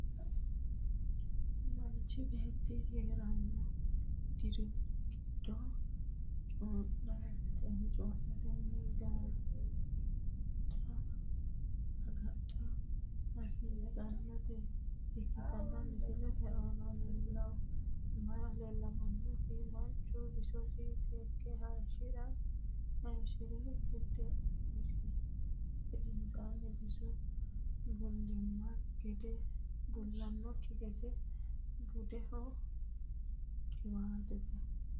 Manchi beeti heerano dirigido coinnatesi agadha hasiisanote ikitanna misilete aanna la'neemoti manchu bisosi seeke hayishirihu gedensaanni bisisi bulanoki gede buudhano qiwaateeti.